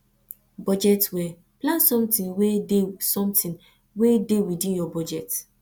budget well plan something wey dey something wey dey within your budget